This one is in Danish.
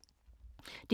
DR K